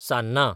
सान्नां